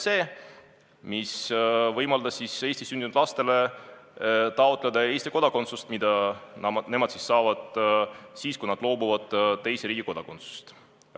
See võimaldab Eestis sündinud lastele taotleda Eesti kodakondsust, mille nad saavad siis, kui nad loobuvad teise riigi kodakondsusest.